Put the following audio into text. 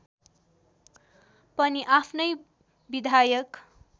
पनि आफ्नै विधायक